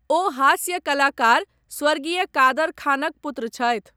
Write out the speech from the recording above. ओ हास्य कलाकार स्वर्गीय कादर खानक पुत्र छथि।